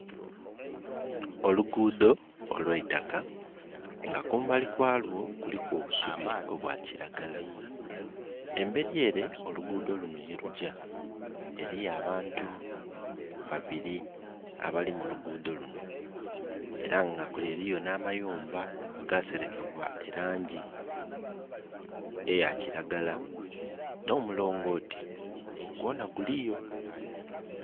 Oluguudho olw' eitaka nga kumbali kwalwo kuliku obusubi obwa kiragala. Emberi ere oluguudho luno ye lujja eriyo abantu babiri abali mu luguudho luno era nga kule eriyo n' amayumba aga serekebwa elangi eya kiragala. Nomulongoti gwona guliyo